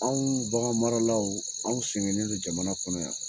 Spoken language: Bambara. Anw baganmaralaw an sɛgɛnnen don jamana kɔnɔ yan